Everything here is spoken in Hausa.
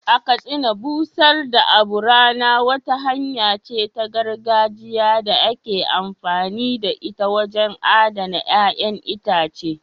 A Katsina, busar da abu rana wata hanya ce ta gargajiya da ake amfani da ita wajen adana ƴa'ƴan itace.